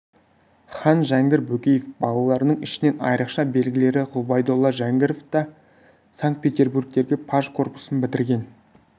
хан жәңгір бөкеев балаларының ішінен айрықша белгілілері ғұбайдолла жәңгіров та санкт-петербургтегі паж корпусын бітірген